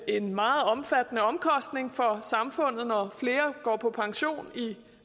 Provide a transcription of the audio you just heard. en meget omfattende omkostning for samfundet når flere går på pension i